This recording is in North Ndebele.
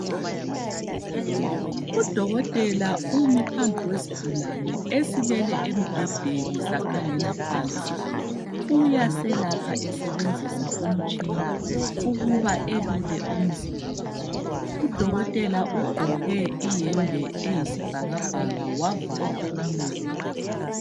UDokotela umi phambi kwesigulane esilele embhedeni sakhangela phansi. Uyaselapha esebenzisa umtshina ukuba elule umzimba. Udokotela ugqoke iyembe eyisibhakabhaka wavala umlomo.